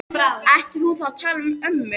Ætti hún þá að tala við ömmu?